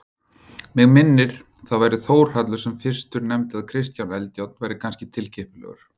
Mig minnir það væri Þórhallur sem fyrstur nefndi að Kristján Eldjárn væri kannski tilkippilegur.